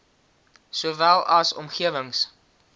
sowel as omgewings